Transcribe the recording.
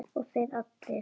Og þeir allir!